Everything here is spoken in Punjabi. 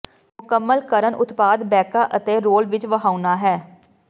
ਮੁਕੰਮਲ ਕਰਨ ਉਤਪਾਦ ਬੈਕਾ ਅਤੇ ਰੋਲ ਵਿੱਚ ਵਹਾਉਣਾ ਹੈ